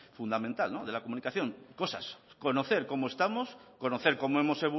fundamental de la comunicación cosas conocer cómo estamos conocer cómo hemos